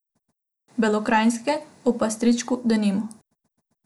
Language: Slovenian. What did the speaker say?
Belokranjske, o pastirčku, denimo.